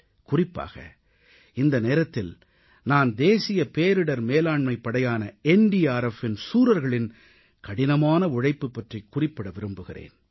குறிப்பாக இந்த நேரத்தில் நான் தேசிய பேரிடர் மேலாண்மைப் படையான NDRFஇன் சூரர்களின் கடினமான உழைப்பு பற்றிக் குறிப்பிட விரும்புகிறேன்